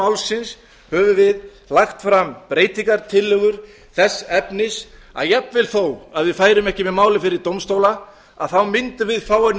málsins höfum við lagt fram breytingartillögur þess efnis að jafnvel þó að við færum ekki með málið fyrir dómstóla mundum við fá að